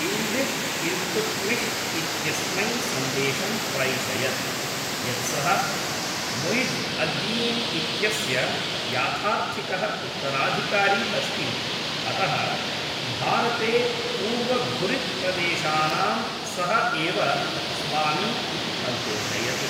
Yildiz Iltutmish इत्यस्मै सन्देशं प्रैषयत्, यत् सः मुइज्ज् अद्दीन् इत्यस्य याथार्थिकः उत्तराधिकारी अस्ति अतः भारते पूर्वघुरिद् प्रदेशानां सः एव स्वामी इति अघोषयत्।